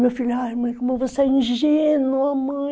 Meu filho, mãe, como você é ingênua, mãe.